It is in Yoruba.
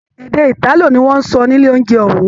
Èdè italo ní wọn n sọ nílé ounjẹ òun.